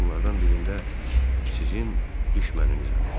Bunlardan birində sizin düşməninizəm.